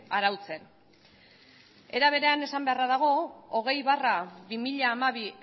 arautzen era berean esan beharra dago hogei barra bi mila hamabi